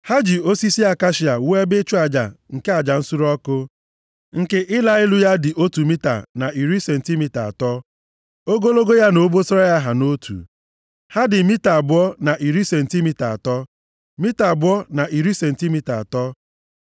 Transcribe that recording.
Ha ji osisi akashia wuo ebe ịchụ aja nke aja nsure ọkụ. Nke ịla elu ya dị otu mita na iri sentimita atọ. Ogologo ya na obosara ya ha nʼotu. Ha dị mita abụọ na iri sentimita atọ, mita abụọ na iri sentimita atọ.